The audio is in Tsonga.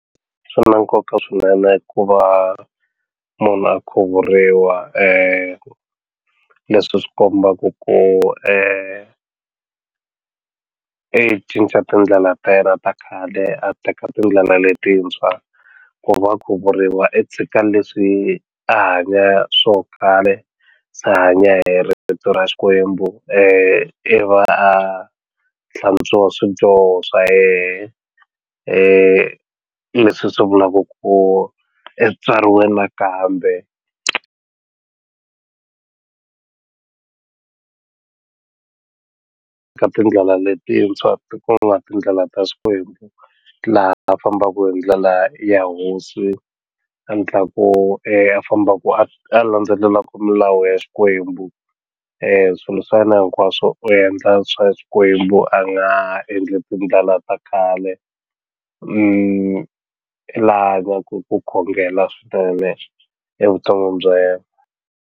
Swi na nkoka swinene ku va munhu a khuvuriwa leswi swi kombaka ku i cinca tindlela ta yena ta khale a teka tindlela letintshwa ku va khuvuriwa i tshika leswi a hanya swo khale se a hanya hi ritu ra xikwembu i va a hlantswiwa swidyoho swa yehe leswi swi vulaku ku i tswariwe nakambe ka tindlela letintshwa tindlela ta xikwembu laha fambaku hi ndlela ya hosi endlaku a fambaku a a landzelelaku milawu ya xikwembu swilo swa yena hinkwaswo u endla swa xikwembu a nga endli tindlela ta kale laha va ku ku khongela swinene evuton'wini bya yena.